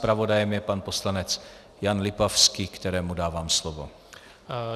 Zpravodajem je pan poslanec Jan Lipavský, kterému dávám slovo.